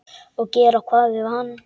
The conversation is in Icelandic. Og gera hvað við hann?